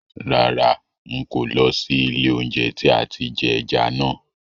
Rárá, ń kò ó lọ sí ilé oúnjẹ tí àti jẹ ẹja náà